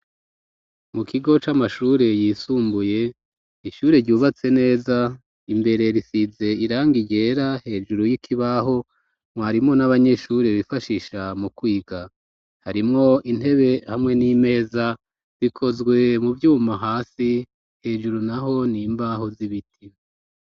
Mu kigo c'amashure yisumbuye, ishure ryubatse neza, imbere risize irangi ryera, hejuru y'ikibaho mwarimu n'abanyeshure bifashisha mu kwiga harimwo intebe ,hamwe n'imeza bikozwe mu vyuma hasi ,hejuru naho n'imbaho z'ibiti.